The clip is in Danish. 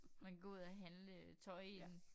Man gå ud og handle øh tøj i den